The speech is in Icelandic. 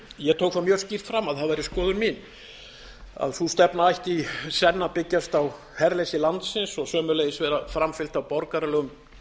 ég tók það mjög skýrt fram að það væri skoðun mín að sú stefna ætti í senn að byggjast á herleysi landsins og sömuleiðis vera framfylgt af borgaralegum